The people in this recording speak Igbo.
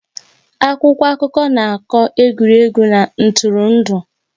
Akwụkwọ akụkọ na-akọ egwuregwu na ntụrụndụ